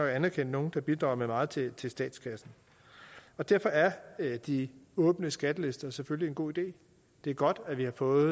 at anerkende nogen der bidrager med meget til til statskassen og derfor er er de åbne skattelister selvfølgelig en god idé det er godt at vi har fået